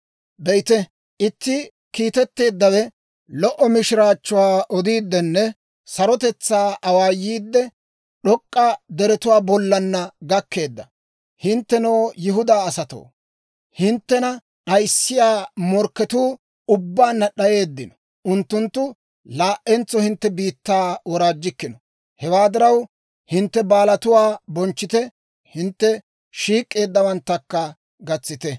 Be'ite, itti kiitetteeddawe lo"o mishiraachchuwaa odiiddinne sarotetsaa awaayiidde, d'ok'k'a deretuwaa bollana gakkeedda. Hinttenoo, Yihudaa asatoo, hinttena d'ayissiyaa morkketuu ubbaanna d'ayeeddino; unttunttu laa"entso hintte biittaa woraajjikkino. Hewaa diraw, hintte baalatuwaa bonchchite; hintte shiik'k'eeddawaakka gatsite.